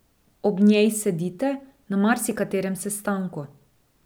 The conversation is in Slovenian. Ob njej sedite na marsikaterem sestanku.